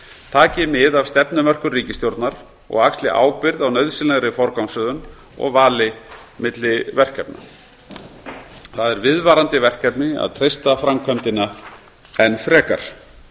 taki mið af stefnumörkun ríkisstjórnar og axli ábyrgð á nauðsynlegri forgangsröðun og vali milli verkefna það er viðvarandi verkefni að treysta framkvæmdina enn frekar